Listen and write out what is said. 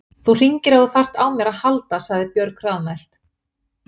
Þú hringir ef þú þarft á mér að halda, sagði Björg hraðmælt.